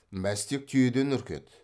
мәстек түйеден үркеді